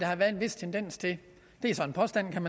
har været en vis tendens til det er så en påstand